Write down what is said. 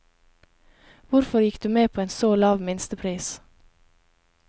Hvorfor gikk du med på en så lav minstepris?